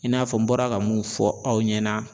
I n'a fɔ n bɔra ka mun fɔ aw ɲɛna